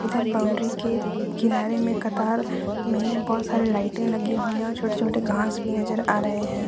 इधर बाउंड्री के किनारे में कतार में बहुत सारी लाइटें लगी हुई हैं और छोटे छोटे घास भी नजर आ रहे हैं।